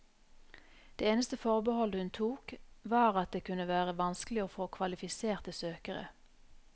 Det eneste forbehold hun tok, var at det kunne være vanskelig å få kvalifiserte søkere.